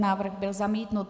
Návrh byl zamítnut.